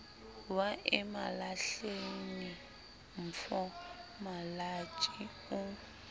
wa emalahleni mof malatjie o